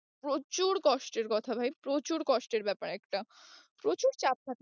প্রচুর কষ্টের কথা ভাই প্রচুর কষ্টের ব্যাপার একটা, প্রচুর চাপ থাকে